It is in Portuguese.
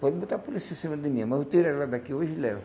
Pode botar a polícia em cima de mim, mas eu tiro ela daqui hoje e levo.